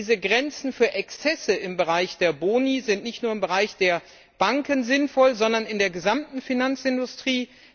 Diese Grenzen für Exzesse im Bereich der Boni sind nicht nur bei Banken sinnvoll, sondern in der gesamten Finanzindustrie.